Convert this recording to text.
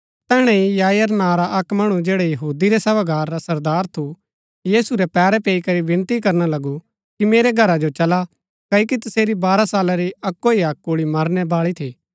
तैहणै ही याईर नां रा अक्क मणु जैडा यहूदी रै सभागार रा सरदार थु यीशु रै पैरै पैई करी विनती करना लगु कि मेरै घरा जो चला क्ओकि तसेरी बारह साला री अक्‍को ही अक्क कुल्ळी मरनै बाळी थी